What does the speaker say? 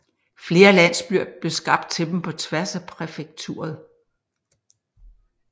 Flere landsbyer blev skabt til dem på tværs af præfekturet